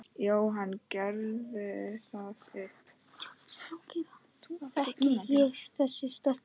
Þekki ég þessa stelpu?